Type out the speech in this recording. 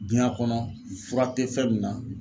Duɲa kɔnɔ fura te fɛn min na